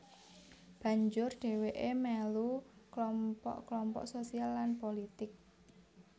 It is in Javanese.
Banjur dhèwèké melu klompok klompok sosial lan pulitik